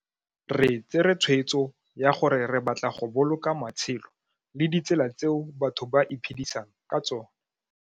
Re tsere tshweetso ya gore re batla go boloka matshelo le ditselatseo batho ba iphedisang ka tsona.